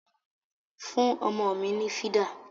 Fún ọmọ mi ni fìdà!